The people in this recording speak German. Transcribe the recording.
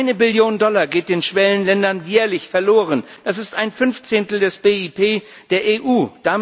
Eine Billion Dollar geht den Schwellenländern jährlich verloren, das ist ein Fünfzehntel des BIP der EU.